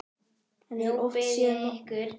Nú bið ég ykkur